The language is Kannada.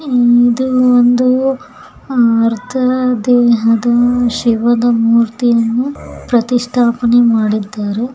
ಉಂ ಇದು ಒಂದು ಅರ್ತ ದೇಹದ ಶಿವದ ಮೂರ್ತಿಯನ್ನು ಪ್ರಥಿಷ್ಟಪಣಿ ಮಾಡಿದ್ದಾರು.